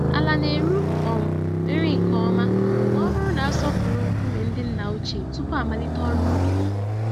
Ala na-eru um nri nke ọma m'ọbụrụ na-asọpụrụ nkume ndị nna ochie tupu amalite ọrụ ubi.